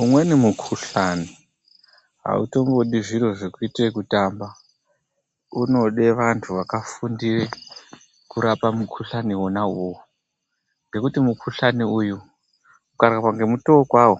Umweni mukhuhlani hautombodi zviro zvekuite ekutamba. Unode vantu vakafundire kurapa mukhuhlani wona iwowo ngekuti mukhuhlani uyu ukarapwa ngemutoo kwawo